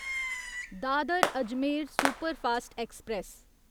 Dadar Ajmer superfast express